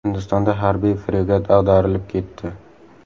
Hindistonda harbiy fregat ag‘darilib ketdi.